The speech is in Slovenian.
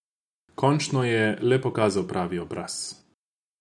Končno je le pokazal pravi obraz.